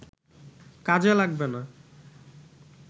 কাজে লাগবে না